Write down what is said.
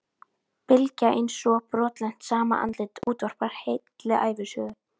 Bylgja eins og brotlent, sama andlit útvarpar heilli ævisögu.